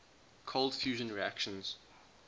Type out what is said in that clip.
cold fusion reactions